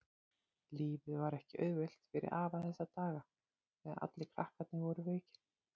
Lífið var ekki auðvelt fyrir afa þessa daga þegar allir krakkarnir voru veikir.